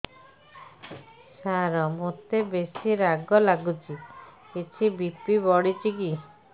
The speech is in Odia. ସାର ମୋତେ ବେସି ରାଗ ଲାଗୁଚି କିଛି ବି.ପି ବଢ଼ିଚି କି